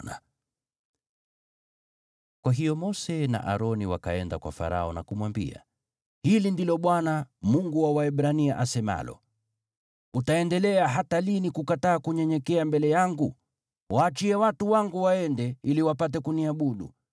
Kwa hiyo Mose na Aroni wakaenda kwa Farao na kumwambia, “Hili ndilo Bwana , Mungu wa Waebrania, asemalo: ‘Utaendelea hata lini kukataa kunyenyekea mbele yangu? Waachie watu wangu waende, ili wapate kuniabudu.